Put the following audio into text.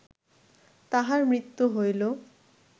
তাঁহার মৃত্যু হইল